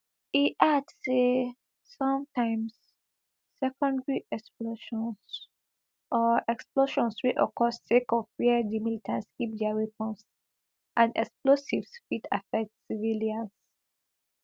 e add say sometimes secondary explosions or explosions wey occur sake of wia di militants keep dia weapons and explosives fit affect civilians